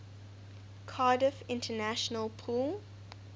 cardiff international pool